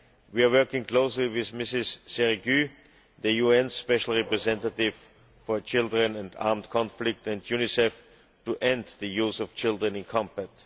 We are working closely with Mrs Zerrougui, the UN Special Representative for children and armed conflict, and Unicef to end the use of children in combat.